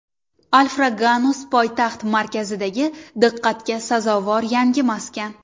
Alfraganus poytaxt markazidagi diqqatga sazovor yangi maskan.